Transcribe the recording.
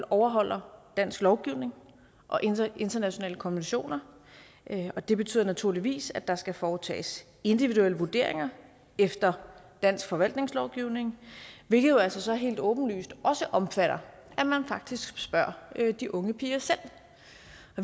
overholder dansk lovgivning og internationale konventioner og det betyder naturligvis at der skal foretages individuelle vurderinger efter dansk forvaltningslovgivning hvilket jo altså så helt åbenlyst også omfatter at man faktisk spørger de unge piger selv